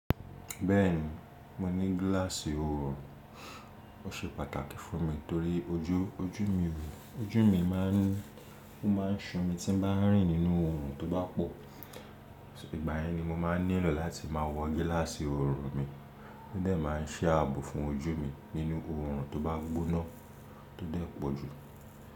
Bẹ́ẹ̀ni, mo ní gíláàsì oorun. Ó ṣe pàtàkì fún mi torí ojú mi máà ń ṣùn mi tí n bá rìn nínú oorun tó bá pọ̀. Ìgbà yẹn ni mo máa nílò láti máa wọ gíláàsì oorun mi, tó dẹ̀ máa ṣẹ́ ààbò fún ojú mi nínú oorun tó bá gbóná tó dẹ̀ pọ̀ jù.